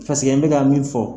n bɛka min fɔ.